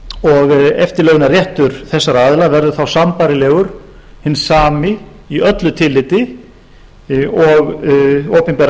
og eftirlaunaréttur þessara aðila verður þá sambærilegur sá sami í öllu tilliti og opinberra